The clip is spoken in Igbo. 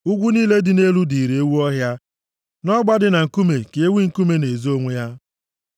Ugwu niile dị elu dịịrị ewu ọhịa; nʼọgba dị na nkume ka ewi nkume na-ezo onwe ha.